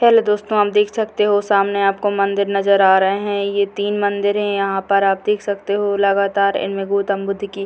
hello दोस्तों आप देख सकते हो सामने आपको मंदिर नजर आ रहे हैं ये तीन मंदिर यहाँ पर आप देख सकते हो लगातर इनमे गौतम बुद्ध की --